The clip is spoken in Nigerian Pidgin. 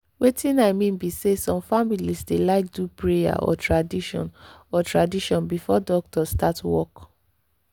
wetin i mean be say some families dey like do prayer or tradition or tradition before doctor start work.